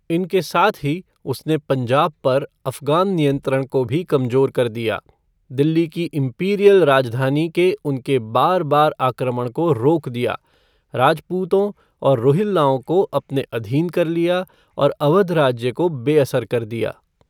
इनके साथ ही, उसने पंजाब पर अफ़गान नियंत्रण को भी कमजोर कर दिया, दिल्ली की इम्पीरियल राजधानी के उनके बार बार आक्रमण को रोक दिया, राजपूतों और रोहिल्लाओं को अपने अधीन कर लिया और अवध राज्य को बेअसर कर दिया।